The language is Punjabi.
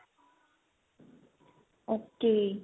ok